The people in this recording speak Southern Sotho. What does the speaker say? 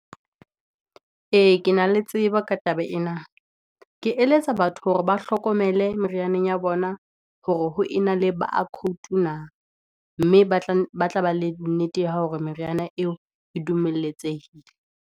Ee, ke na le tseba ka taba ena, ke eletsa batho hore ba hlokomele merianeng ya bona hore ho e na le barcode na mme ba tla ba le nnete ya hao hore meriana eo e dumeletsehile.